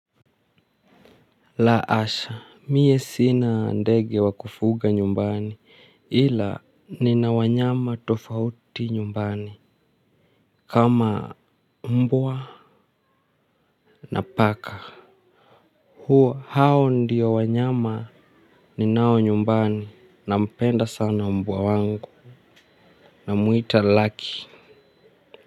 La asha mie sina ndege wa kufuga nyumbani ila nina wanyama tofauti nyumbani kama mbwa na paka huo hao ndiyo wanyama ni nao nyumbani na mpenda sana mbwa wangu na muhita lucky.